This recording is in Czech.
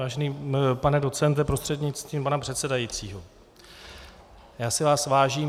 Vážený pane docente prostřednictvím pana předsedajícího, já si vás vážím.